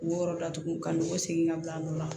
U yɔrɔ datugu ka nɔgɔn segin ka bila o la